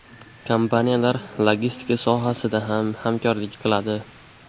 Kompaniyalar logistika sohasida ham hamkorlik qiladi.